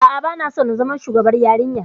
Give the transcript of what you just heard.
A'a, ba na so in zama shugabar yarinya.